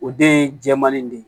O den ye jɛman nin de ye